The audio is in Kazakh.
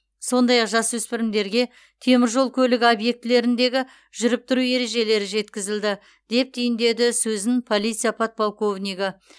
сондай ақ жасөспірімдерге темір жол көлігі объектілеріндегі жүріп тұру ережелері жеткізілді деп түйіндеді сөзін полиция подполковнигі